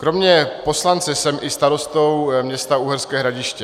Kromě poslance jsem i starostou města Uherské Hradiště.